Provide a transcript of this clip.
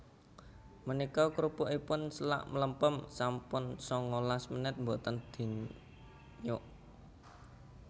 Menika krupukipun selak mlempem sampun sangalas menit mboten dinyuk